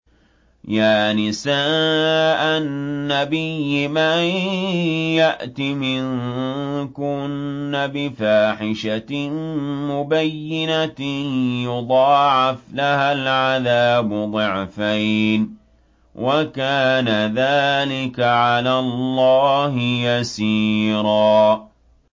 يَا نِسَاءَ النَّبِيِّ مَن يَأْتِ مِنكُنَّ بِفَاحِشَةٍ مُّبَيِّنَةٍ يُضَاعَفْ لَهَا الْعَذَابُ ضِعْفَيْنِ ۚ وَكَانَ ذَٰلِكَ عَلَى اللَّهِ يَسِيرًا